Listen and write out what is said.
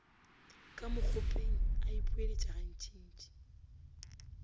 ka mokgopeng a ipoeletša gantšintši